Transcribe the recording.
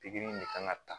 Pikiri in de kan ka ta